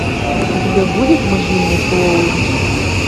у тебя будет могильный хэллоуин